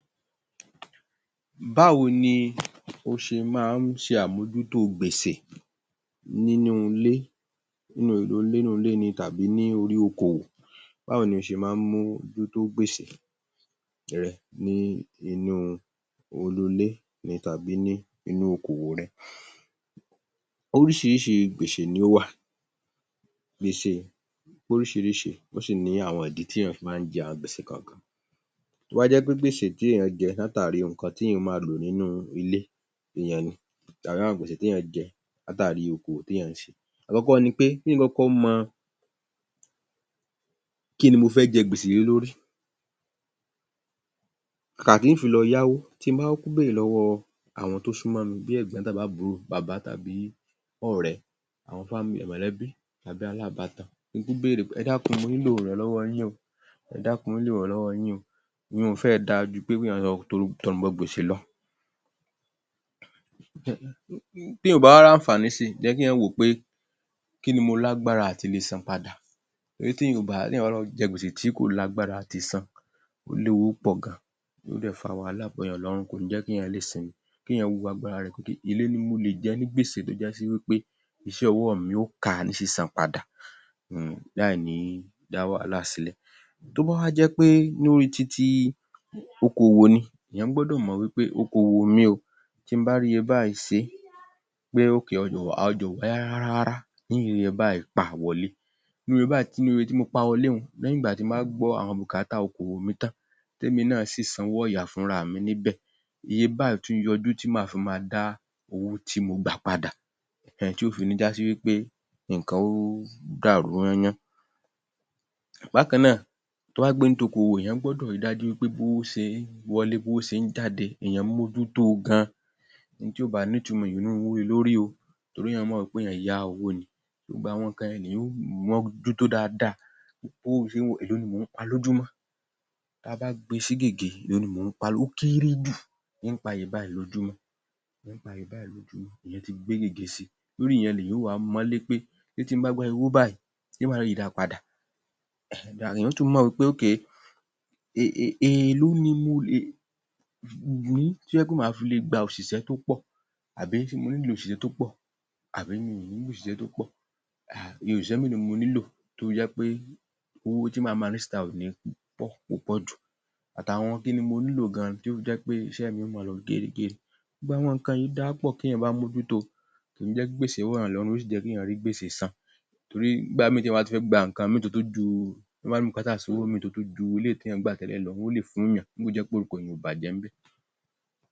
Báwo ni o ṣe máa ń ṣe àmojútó gbèsè nínú ilè, nínú ilé ni tàbí ní órí okòwò? Báwo ni o ṣe máa ń ṣe àmojútó gbèsè re, nínú ilé ni tàbí lórí okòwò rẹ? Oríṣirísi gbèsè ni ó wà, gbèsè pé oríṣiríṣi, ó sì ní àwọn ìdí tí èyàn fi máa ń jẹ àwọn gbèsè kọ̀ọ̀kan, tó bá jẹ́ gbèsè tí èyàn jẹ látàrí àwọn nǹkan tí èyàn máa lò nínú ilé èyaǹ ni, tàbí àwọn gbèsè tí èyàn jẹ látàrí okòwò tí èyàn ṣe. Àkọ́kọ́ ni pé kí èyàn ó kọ́kọ́ mọ kíni mo fẹ́ jẹ gbèsè lé lórí, kàkà kí n fi lọ yáwó, tí mo bá kúkú béèrè lọ́wọ́ àwọn tó súnmọ́ mi, bí ẹ̀gbọ́n àbí àbúrò, bàbá tàbí ọ̀rẹ́, àwọn, mọ̀lẹ́bí tàbí alábàátan, kí n kúkú beèrè pé ẹ dàkun mo nílò ìrànlọ́wọ́ yín o, ẹ dákun mo nílò ìrànlọ́wọ́ yín o, ìyunùn fẹ́rẹ̀ dáa ju pé kí èyàn lọ torí tọrùn bọ gbèsè lọ. Tí èyàn ò bá wá láǹfàní si, kí èyàn wò ó pé kíni mo lágbárá àti le san padà, torí tí èyàn ò bá, tí èyàn bá lọ jẹ gbèsè tí kò lágbára àti san, ó léwu púpọ̀ gan-an, tí yóò dẹ̀ fa wàhálà bọ̀yàn lọ́rùn, kò ní í jẹ́ kí èyàn lè sinmi, kí èyàn wo agbára, pé èló ni mo lè jẹ ní gbèsè tó já wípé iṣẹ́ ọwọ́ mi ó ká a ní sísan padà um láìní dá wàhálà sílẹ̀, tó bá wa jẹ́ pé lórí ti ti okòwò ni, èyàn gbọ́dọ̀ mọ̀ wípé okòwò mi o, tí mo bá rí iye báyìí ṣe é, pé, ọjà ò, ọjà ò wá rárá rárá n ó rí iye báyìí pa wọlé nínú iye báyìí, nínú iye tí mo pa wọlé, lẹ́yìn ìgbà tí mo bá gbọ́ àwọn bùkátà okòwò mi tán, tèmi náa sì sanwó ọ̀yà fúnra mi níbẹ̀, iye báyìí á tún yọjú tí máà fi máa dá owó tí mo pà padà um tí ò fi ní já sí wípé nǹkan ó dàrú yán-án yán-án, bákan náà tó bá pẹ́ nítí okòwò, èyàn gbọ́dọ̀ ri dájú pé bí owó ṣe ń wọlé, bówó ṣe ń jáde, èyàn ń mójú tó o gan-an, ohun tí ò bá nítumọ̀ èyàn ò ní í ru owó lé e lórí o, torí èyàn mọ̀ wípé èyàn yá owó ni, gbogbo àwọn nǹkan yẹn[um] lèyàn ó mójútó dáadáa, bówó ṣe ń wọlé, èló ni mò ń pa lójúmọ́, táa bá gbe sí gègé, èló ni mò ń pa, ó kéré jù, n ó pa iye báyìí lójúmọ́, n ó pa iye báyìí lójúmọ́, èyàn ti gbé gègé si, lórí ìyẹn ni èyàn ó wá mọ ó lé pé ṣe tí mo bá gba iye owó báyìí, ṣé màá ri da padà, èyàn ó tún mọ̀ wípé um èló ni mo lè rí tó jẹ́ pé máa fi òṣìṣẹ́ tó pọ̀ tàbí ṣé mo nílò òṣìṣẹ́ tó pọ̀ àbí mi ò nílò òṣìṣẹ́ tó pọ̀ um iye òṣìṣẹ́ mélòó ni mo nílò tó fi jẹ́ pe owó tí máa má ná síta ò ní í pọ̀, púpọ̀ jù, àtàwọn kíni mo nílò gan-an tí ó fi jẹ́ pé iṣẹ́ mi ó máa lọ gérégéré, gbogbo àwọn nǹkan yìí dáa púpọ̀ téèyàn bá mójútó o, kò ní jẹ́ kí gbèsè wọ̀ èyàn lọ́rùn, yóò sì tún jẹ́ kí èyàn rí gbèsè san torí nígb̀a míì téyàn bá tún fẹ́ gba nǹkan míì tó tún jù, bùkátà owó mìíràn tó tún ju nǹkan tí èyàn gbà tẹ́lẹ̀ lọ, wọn ó lè fún èyàn nígbà tó jẹ́ pé orúkọ èyàn ò bàjẹ́ ńbẹ̀